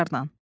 İxtisarən.